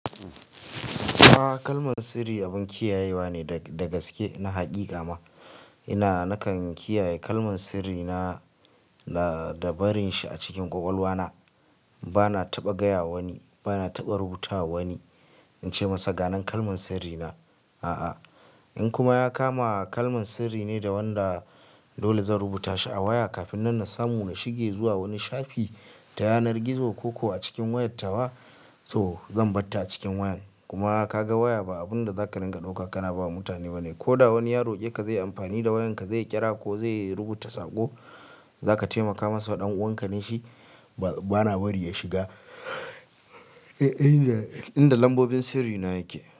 A'a kalman sirri abun kiyayewa ne dagaske na haƙiƙa ma. Ina nakan kiyaye kalman sirrina da barin shi a cikin kwakwalwa na bana taɓa gaya wa wani, bana taɓa rubutawa wa wani ince masa ga nan kalman sirri na ah a'a in kuma ya kama kalman sirri ne da wanda dole zan rubuta shi a waya kafin nan na samu na shige zuwa wani shafi ta yanar gizo ko ko a cikin wayar tawa, to zan barta a cikin wayan. Kuma ka ga waya ba abunda zaka ringa dauka kana bawa mutane bane. Ko da wani ya roƙe ka zai yi amfani da wayan ka zai yi kira ko zai rubuta saƙo za ka taimaka masa ɗan uwanka ne shi bana bari ya shiga inda lambobin sirrina yake.